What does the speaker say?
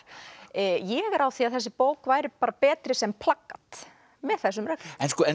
ég er á því að þessi bók væri bara betri sem plakat með þessum reglum